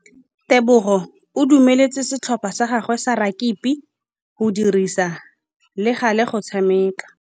Tebogô o dumeletse setlhopha sa gagwe sa rakabi go dirisa le galê go tshameka.